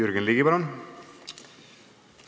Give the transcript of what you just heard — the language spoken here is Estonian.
Jürgen Ligi, palun!